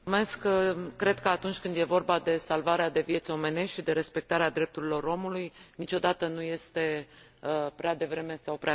Cred că atunci când e vorba de salvarea de vieți omenești și de respectarea drepturilor omului niciodată nu este prea devreme sau prea târziu.